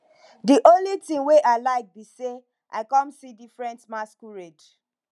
the only thing wey i like be say i come see different masquerade